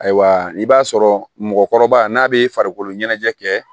Ayiwa i b'a sɔrɔ mɔgɔkɔrɔba n'a bɛ farikolo ɲɛnajɛ kɛ